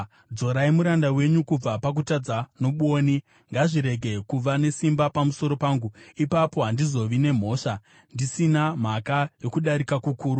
Dzorai muranda wenyu kubva pakutadza nobwoni; ngazvirege kuva nesimba pamusoro pangu. Ipapo handizovi nemhosva, ndisina mhaka yokudarika kukuru.